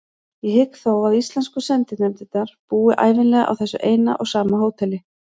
Ég hygg þó að íslensku sendinefndirnar búi ævinlega á þessu eina og sama hóteli.